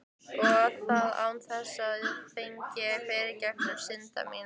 Og það án þess ég fengi fyrirgefningu synda minna.